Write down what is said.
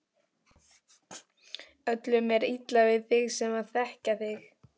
Öllum er illa við þig sem þekkja þig!